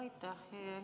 Aitäh!